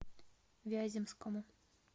вяземскому